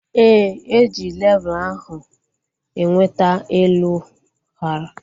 Éè, eji levul ahu enweta elu hara